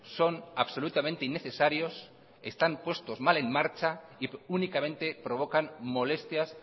son absolutamente innecesarios están puestos mal en marcha y únicamente provocan molestias